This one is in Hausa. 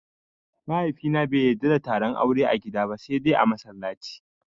Mahaifina bai yadda da taron aure a gida ba sai dai mallaci